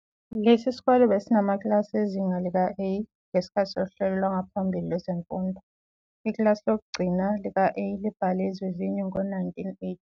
Lesi sikole besinamakilasi ezinga lika "A" ngesikhathi sohlelo lwangaphambili lwezemfundo. Ikilasi lokugcina lika-A libhale izivivinyo ngo-1989.